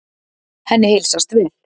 Henni heilsast vel.